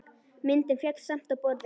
Myndin féll samt á borðið.